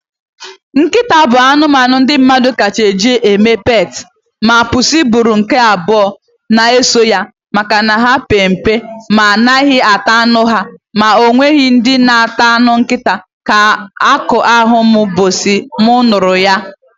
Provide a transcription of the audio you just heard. Nkịta bụ anụmanụ ndị mmadụ kacha eji eme peetị, ma bussu bụrụ nke abụọ na eso ya, maka na ha pe mpe ma anaghị ata anụ ha, ma ọ nwekwa ndị na ata anụ nkịta, akụ a mụ mgbọsị mụ nụrụ ya